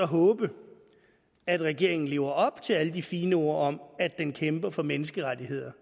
håbe at regeringen lever op til alle de fine ord om at den kæmper for menneskerettigheder